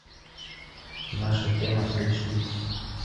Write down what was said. наша тема айч ди